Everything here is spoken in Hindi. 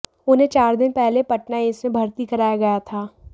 उन्हें चार दिन पहले पटना एम्स में भर्ती कराया गया था